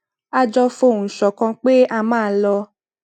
a jọ fohùn ṣòkan pé a máa lo